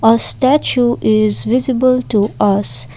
a statue is visible to us.